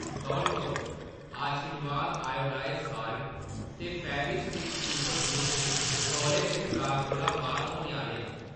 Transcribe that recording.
तौल करो, Aashirvaad iodised salt ते फेविस्टिक सुपर ग्लू स्टिक तौले गै स्टाक कोला बाह्‌‌र होने आह्‌‌‌ले न।